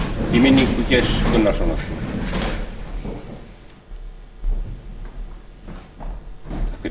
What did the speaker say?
í minningu geirs gunnarssonar þingmenn risu úr sætum takk fyrir